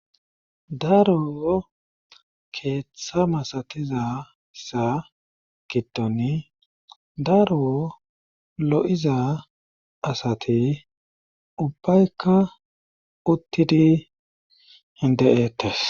daro keeththa masatizasa giddoni daro lo7iza asati ubbaykka uttidi hinde7eetes